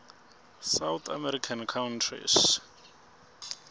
south american countries